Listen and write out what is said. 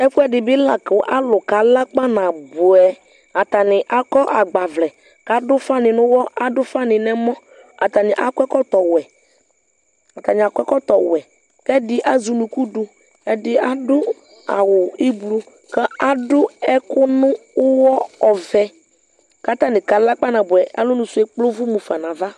Ɛfuɛ di bi la kʋ alʋ kala kpanabuɛ Atani akɔ agbavlɛ kʋ adʋ ʋfa ni nʋ ʋwɔ, adʋ ʋfa n'ɛmɔ Atani akɔ ɛkɔtɔ wɛ, atani akɔ ɛkɔtɔ wɛ, kʋ ɛdi azɛ unuku dʋ kʋ, ɛdi adʋ awʋ ʋblʋ kʋ adʋ ɛkʋ nʋ wɔ ɔvɛ kʋ atani kala kpanabuɛ Alɔ nʋ sʋ ɛ ekple ʋvʋ mufa n'ava